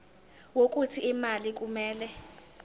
wokuthi imali kumele